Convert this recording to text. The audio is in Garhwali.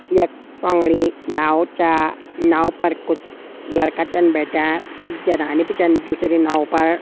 यक पौंगड़ी नाव च नाव पर कुछ लड़का चन बैठ्यां। कुछ जनानी बि चन दूसरी नाव पर।